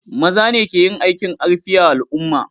Maza ne ke yin aikin karfi a al'umma